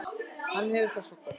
Hann hefur það svo gott.